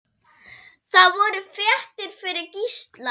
Það voru fréttir fyrir Gísla.